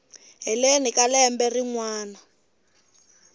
heleni ka lembe rin wana